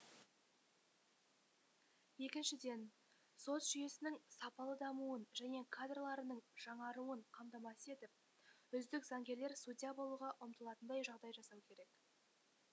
екіншіден сот жүйесінің сапалы дамуын және кадрларының жаңаруын қамтамасыз етіп үздік заңгерлер судья болуға ұмтылатындай жағдай жасау керек